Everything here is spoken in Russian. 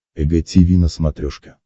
эг тиви на смотрешке